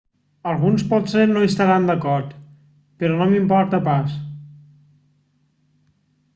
alguns potser no hi estaran d'acord però no m'importa pas